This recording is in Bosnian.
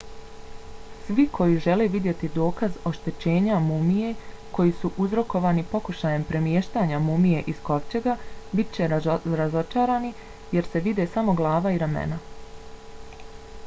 svi koji žele vidjeti dokaz oštećenja mumije koji su uzrokovani pokušajem premještanja mumije iz kovčega bit će razočarani jer se vide samo glava i ramena